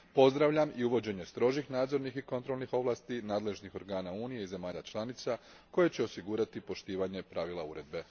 Pozdravljam i uvođenje strožih nadzornih i kontrolnih ovlasti nadležnih organa Unije i zemalja članica koje će osigurati poštivanje pravila Uredbe.